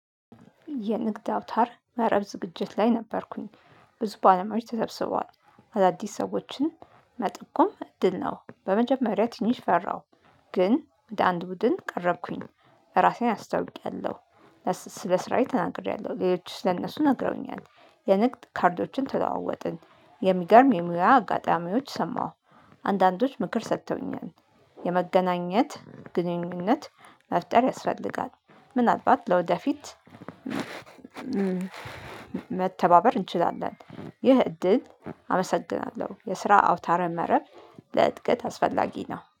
የንግድ አውታር መረብ ዝግጅት ላይ ነበርኩኝ። ብዙ ባለሙያዎች ተተስቧል አዳዲስ ሰዎችን መጠቆም እድል ነው። በመጀመሪያ ትንሽ ፈራሁ። ግን ወደ አንድ ቡድን ቀረብኩኝ ራሴን አስታውቂያለሁ። ስለ ስራዬ ተናግሬያለሁ። ሌሎችስ ለእነሱ ነግረውኛል። የንግድ ካርዶችን ተለዎወጥን የሚገርም የሙያ አጋጣሚዎች ሰማሁ። አንዳንዶች ምክር ሰርተውኛል። የመገናኘት ግንኙነት መፍጠር ያስፈልጋል። ምናልባት ለወደፊት መተባበር እንችላለን። ይህ እድል አመሰግናለሁ። የስራ አውታረ መረብ ለእድገት አስፈላጊ ነው